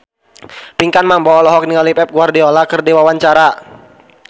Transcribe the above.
Pinkan Mambo olohok ningali Pep Guardiola keur diwawancara